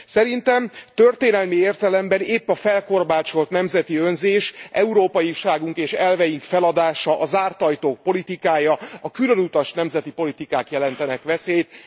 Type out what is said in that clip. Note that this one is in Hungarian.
Szerintem történelmi értelemben épp a felkorbácsolt nemzeti önzés, európaiságunk és elveink feladása, a zárt ajtók politikája, a különutas nemzeti politikák jelentenek veszélyt.